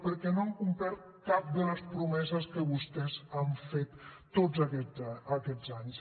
perquè no han complert cap de les promeses que vostès han fet tots aquests anys